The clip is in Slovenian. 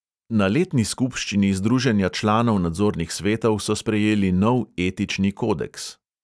Na letni skupščini združenja članov nadzornih svetov so sprejeli nov etični kodeks.